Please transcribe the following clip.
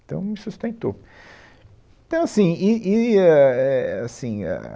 Então, me sustentou. Então assim, e e ãh, é assim, ah